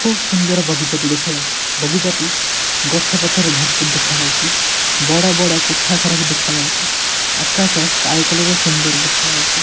ଖୁବ୍ ସୁନ୍ଦର ବଗିଚା ଟି ଦେଖାଯାଉଛି ବଗିଚାଟି ଗଛ-ପତ୍ର ରେ ଭରପୁର ଦେଖାଯାଉଚି ବଡ଼ ବଡ଼ କୋଠା ଘର ବି ଦେଖାଯାଉଚି ଆକାଶ ସ୍କାଏ କଲର୍ ଓ ସୁନ୍ଦର ଦେଖାଯାଉଚି।